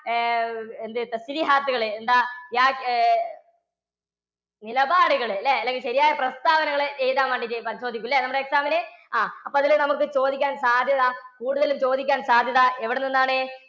ഏർ എന്താ എന്താ നിലപാടുകൾ അല്ലെങ്കിൽ ശരിയായ പ്രസ്താവനകളെ എഴുതാൻ വേണ്ടിയിട്ട് ചോദിക്കും അല്ലേ നമ്മുടെ exam ന്? ആ അപ്പോൾ അതിൽ നമുക്ക് ചോദിക്കാൻ സാധ്യത കൂടുതലും ചോദിക്കാൻ സാധ്യത എവിടെനിന്നാണ്?